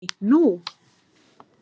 Nei, nú?